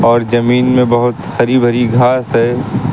और जमीन में बहुत हरी भरी घास है।